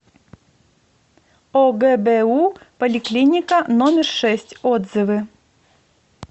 огбу поликлиника номер шесть отзывы